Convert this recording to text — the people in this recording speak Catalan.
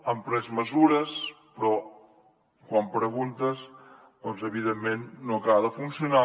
han pres mesures però quan preguntes doncs evidentment no acaba de funcionar